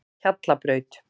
Hjallabraut